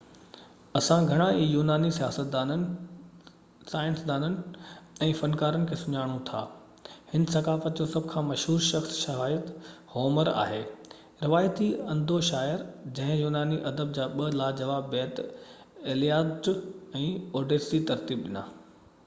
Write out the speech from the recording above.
اسان گهڻا ئي يوناني سياستدانن سائنسدانن ۽ فنڪارن کي سڃاڻو ٿا هن ثقافت جو سڀ کان مشهور شخص شايد هومر آهي روايتي انڌو شاعر جنهن يوناني ادب جا ٻہ لاجواب بيت ايلياڊ ۽ اوڊيسي ترتيب ڏنا